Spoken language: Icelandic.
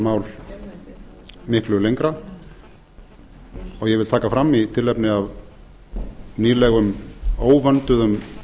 mál miklu lengra ég vil taka fram í tilefni af nýlegum óvönduðum